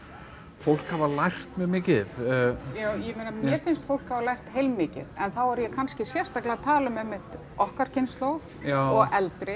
fólk hafa lært mjög mikið já ég meina mér finnst fólk hafa lært heilmikið en þá er ég kannski sérstaklega að tala um einmitt okkar kynslóð og eldri